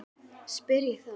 spyr ég þá.